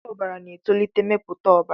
Ọgwụ ọbara na-etolite mmepụta ọbara.